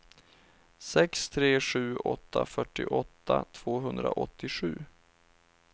sex tre sju åtta fyrtioåtta tvåhundraåttiosju